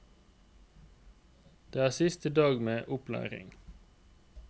Det er siste dag med opplæring.